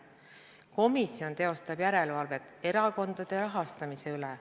Komisjon teostab järelevalvet erakondade rahastamise üle.